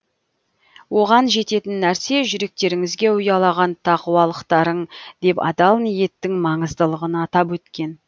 оған жететін нәрсе жүректеріңізге ұялаған тақуалықтарың деп адал ниеттің маңыздылығын атап өткен